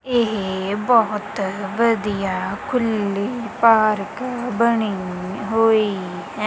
ਇਹ ਬਹੁਤ ਵਧੀਆ ਖੁੱਲੀ ਪਾਰਕ ਬਣੀ ਹੋਈ ਹੈ।